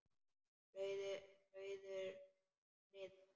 Rauður friður